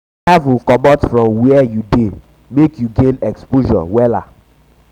travel comot from wia you um dey mek you gain exposure um wella